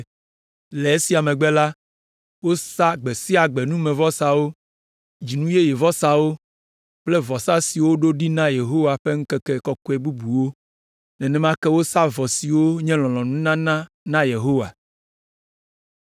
Le esia megbe la, wosa gbe sia gbe numevɔsawo, Dzinu Yeye vɔsawo kple vɔsa siwo woɖo ɖi na Yehowa ƒe ŋkeke kɔkɔe bubuwo. Nenema ke wosa vɔ siwo nye lɔlɔ̃nununana na Yehowa.